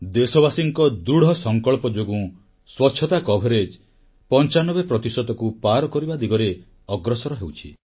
ଦେଶବାସୀଙ୍କ ଦୃଢ଼ସଂକଳ୍ପ ଯୋଗୁଁ ସ୍ୱଚ୍ଛତା ଉକ୍ଟଙ୍ଖରକ୍ସବଶର 95 ପ୍ରତିଶତକୁ ପାର କରିବା ଦିଗରେ ଅଗ୍ରସର ହେଉଛି